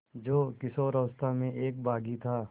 जो किशोरावस्था में एक बाग़ी था